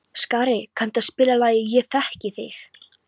Skari, kanntu að spila lagið „Ég þekki þig“?